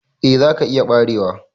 Eh za ka iya barewa.